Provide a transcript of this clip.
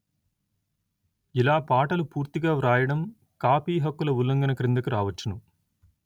ఇలా పాటలు పూర్తిగా వ్రాయడం కాపీ హక్కుల ఉల్లంఘన క్రిందికి రావచ్చును